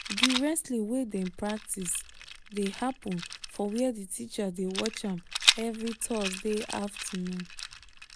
di wrestling wey dem practice dey happen for where the teacher dey watch am every thursday afternoon